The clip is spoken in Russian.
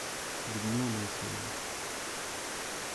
людмила моисеева